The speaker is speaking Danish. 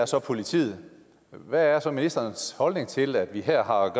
så er politiet hvad er så ministerens holdning til at vi her har